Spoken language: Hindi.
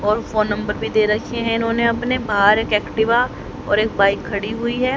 और फोन नंबर भी दे रखे हैं इन्होंने अपने बाहर एक एक्टिवा और एक बाइक खड़ी हुई है।